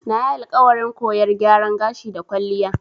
Nayi alƙawarin koyar gyaran gashi da kwalliya.